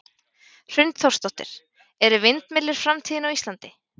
Hrund Þórsdóttir: Eru vindmyllur framtíðin á Íslandi?